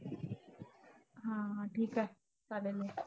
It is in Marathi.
हा हा ठीक आहे. चालेल मग.